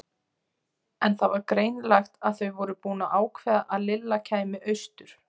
En það var greinilegt að þau voru búin að ákveða að Lilla kæmi austur.